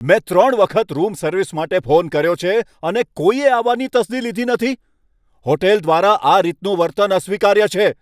મેં ત્રણ વખત રૂમ સર્વિસ માટે ફોન કર્યો છે, અને કોઈએ આવવાની તસ્દી લીધી નથી! હોટેલ દ્વારા કરાયેલ આ રીતનું વર્તન અસ્વીકાર્ય છે.